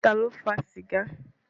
Ta ló fa sìgá?